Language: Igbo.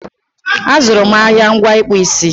A zụrụ m ahịa ngwa ịkpụ isi